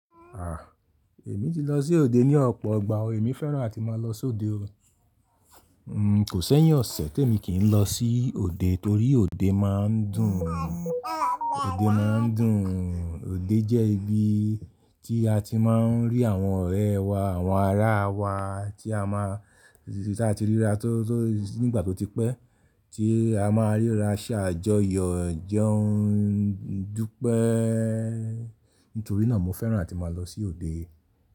Ah! Èmi ti lọ sí òde ní ọ̀pọ̀ ìgbà o, èmi fẹ́ràn àti máa lọ sí òde o. Kò sẹ́yìn ọ̀sẹ̀ tí èmi kì í lọ sí òde torí òde máa ń dùn, òde máa ń dùn. Òde jẹ́ ibi tí a ti máa ń rí àwọn ọ̀rẹ́ wa, àwọn ará wa tí a máa, tí a ti ríra tó, tó nígbà tó ti pẹ́, tí a máa ríra ṣáájo yọ̀ò jẹun dúpẹ́. Nítorí náà mo fẹ́ràn àti máa lọ sí òde.